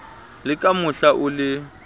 le ka mohla o le